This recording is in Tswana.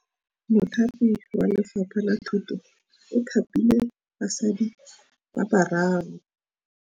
Mothapi wa Lefapha la Thutô o thapile basadi ba ba raro.